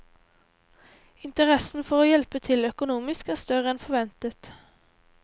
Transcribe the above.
Interessen for å hjelpe til økonomisk er større enn forventet.